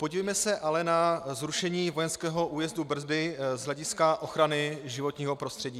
Podívejme se ale na zrušení vojenského újezdu Brdy z hlediska ochrany životního prostředí.